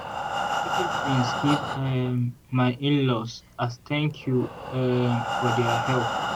i package beans give um my in-laws as thank you um for their help.